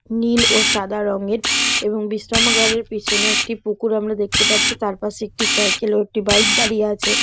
নীল ও সাদা রংএর এবং বিশ্রামাগারের পিছনে একটি পুকুর আমরা দেখতে পারছি তার পাশে একটি সাইকেল ও একটি বাইক দাঁড়িয়ে আছে।